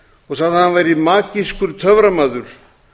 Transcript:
og sagði hann var magískur töframaður